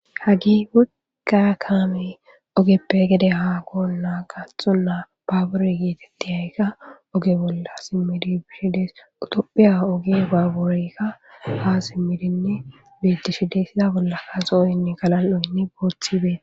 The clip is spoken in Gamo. hagi wogaa kaame ogeppe gede haa goon naa gaathxonnaa baabure geetettiyaykka oge bolla simmidi bishides utophiya oge baabureykka ha simmidinne biittishi dessiza bolla ka zooynne galan7oynni booththibee